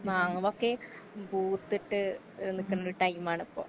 മാവൊക്കെ പൂത്തിട്ട് ഏ നിക്ക്ണൊരു ടൈമാണിപ്പൊ.